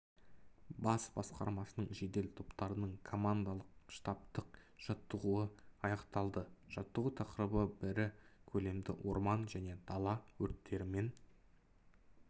бас басқармасының жедел топтарының командалық-штабтық жаттығуы аяқталды жаттығу тақырыбы ірі көлемді орман және дала өрттерімен